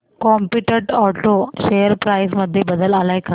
competent auto share price मध्ये बदल आलाय का